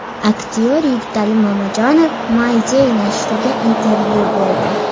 Aktyor Yigitali Mamajonov My Day nashriga intervyu berdi .